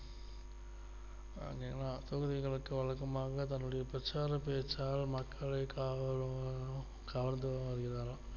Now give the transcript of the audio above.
அதேதான் தொகுதிகளுக்கு வழக்கமாக தங்களுடைய பிரச்சார பேச்சாளர் மக்களை காவளும் கவர்ந்திருக்காராம்